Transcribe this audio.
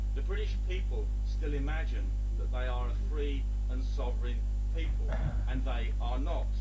The British people still imagine that they are a free and sovereign people, and yet they are not.